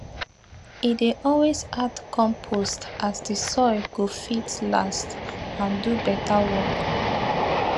e dey always add compost so the soil go fit last and do better work